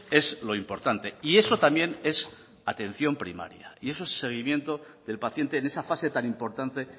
es lo importante y eso también es atención primaria y eso seguimiento del paciente en esa fase tan importante